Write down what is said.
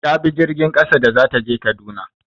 Ta bi jirgin ƙasa da za ta je Kaduna.